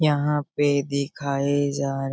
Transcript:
यहाँ पे दिखाए जा --